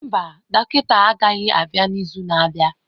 Mba, dọkịta agaghị adị n'izu na-abịa.